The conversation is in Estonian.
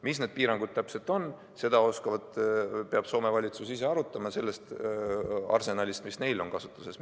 Mis need piirangud täpselt on, seda peab Soome valitsus ise arutama, lähtudes sellest arsenalist, mis nende kasutuses on.